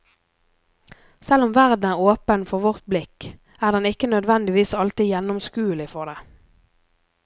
Selv om verden er åpen for vårt blikk, er den ikke nødvendigvis alltid gjennomskuelig for det.